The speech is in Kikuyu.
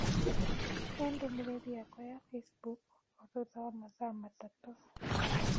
He ndũmĩrĩri yakwa ya Facebook o thutha wa mathaa matatũ